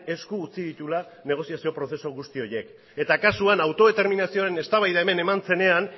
esku utzi dituela negoziazio prozesu guzti horiek eta kasuan autodeterminazioaren eztabaida hemen eman zenean